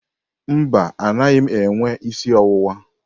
Mba, anaghị m enwe isi ọwụwa.